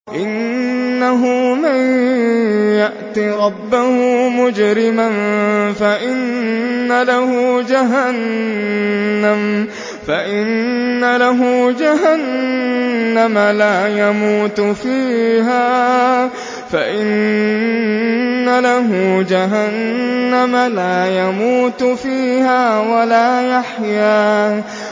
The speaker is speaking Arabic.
إِنَّهُ مَن يَأْتِ رَبَّهُ مُجْرِمًا فَإِنَّ لَهُ جَهَنَّمَ لَا يَمُوتُ فِيهَا وَلَا يَحْيَىٰ